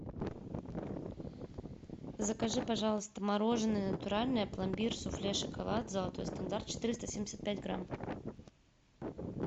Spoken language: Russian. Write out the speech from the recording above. закажи пожалуйста мороженое натуральное пломбир суфле шоколад золотой стандарт четыреста семьдесят пять грамм